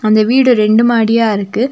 அந்த வீடு ரெண்டு மாடியா இருக்கு.